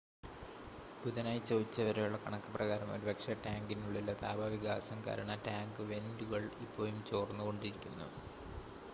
ബുധനാഴ്ച ഉച്ചവരെയുള്ള കണക്ക് പ്രകാരം ഒരുപക്ഷെ ടാങ്കിനുള്ളിലെ താപ വികാസം കാരണം ടാങ്ക് വെൻ്റുകൾ ഇപ്പോഴും ചോർന്നുകൊണ്ടിരിക്കുന്നു